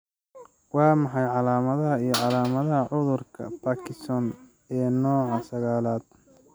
Waa maxay calaamadaha iyo calaamadaha cudurka Parkinson ee nooca sagalad?